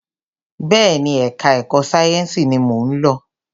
Bẹẹni, ẹka ẹ̀kọ́ sáyẹnsì ní mọ ń lọ.